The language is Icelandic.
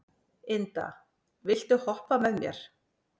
Inda, viltu hoppa með mér?